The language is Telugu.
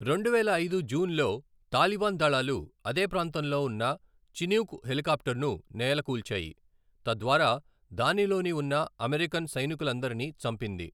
రెండువేల ఐదు జూన్లో, తాలిబాన్ దళాలు అదే ప్రాంతంలో ఉన్న చినూక్ హెలికాప్టర్ను నేలకూల్చాయి, తద్వారా దానిలోని ఉన్న అమెరికన్ సైనికులందరినీ చంపింది.